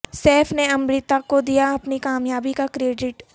safe نے امریتا کو دیا اپنی کامیابی کا کریڈٹ